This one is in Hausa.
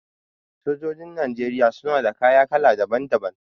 Sojojin Najeriya suna da kaya kala daban daban.